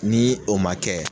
Ni o ma kɛ